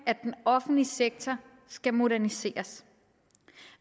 at den offentlige sektor skal moderniseres